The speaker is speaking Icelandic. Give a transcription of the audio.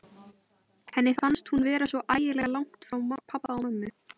Henni fannst hún vera svo ægilega langt frá pabba og mömmu.